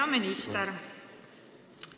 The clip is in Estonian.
Hea minister!